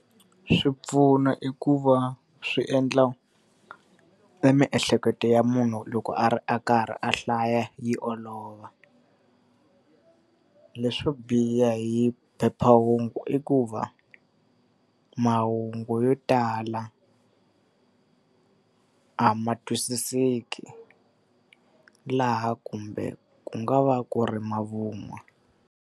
Swipfuno i ku va swi endla emiehleketo ya munhu loko a ri a karhi a hlaya yi olova. Leswo biha hi phephahungu i ku va mahungu yo tala a ma twisiseki laha kumbe ku nga va ku ri mavun'wa.